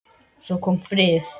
Svo kom vorið.